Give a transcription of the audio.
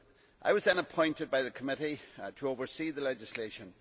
I was then appointed by the committee to oversee the legislation.